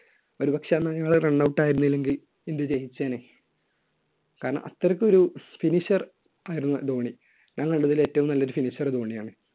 ഒരുപക്ഷെ അന്ന് അയാൾ run out ആയിരുന്നില്ലെങ്കിൽ ഇന്ത്യ ജയിച്ചേനെ. കാരണം അത്രയ്ക്ക് ഒരു finisher ആയിരുന്നു ധോണി. ഞാന്‍ കണ്ടത്തില്‍ ഏറ്റവും നല്ല ഒരു finisher ധോണിയാണ്.